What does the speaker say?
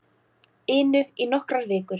inu í nokkrar vikur.